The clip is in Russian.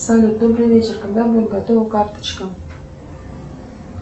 салют добрый вечер когда будет готова карточка